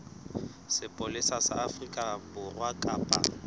sepolesa sa afrika borwa kapa